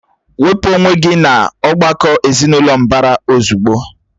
Wepụ onwe gị n'ọ̀gbakọ̀ ezinụlọ mbara ozugbo!